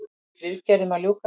Viðgerðum að ljúka